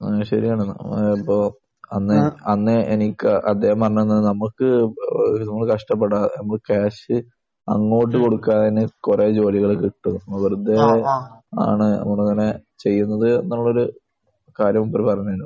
ആഹ്. ശരിയാണ്. അതിപ്പോൾ അന്ന് അന്ന് എനിക്ക് അദ്ദേഹം പറഞ്ഞ് തന്നത് നമുക്ക് ഏഹ് നമ്മൾ കഷ്ടപ്പെടുക നമുക്ക് കാശ് അങ്ങോട്ട് കൊടുക്കാൻ കുറെ ജോലികൾ കിട്ടും. വെറുതെ ആണ് ഇങ്ങനെ ചെയ്യുന്നത് എന്നുള്ളൊരു കാര്യം മൂപ്പര് പറഞ്ഞിരുന്നു.